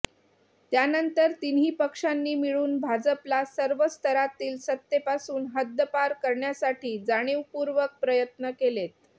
त्यानंतर तिन्ही पक्षांनी मिळून भाजपला सर्व स्तरातील सत्तेपासून हद्दपार करण्यासाठी जाणीवपूर्वक प्रयत्न केलेत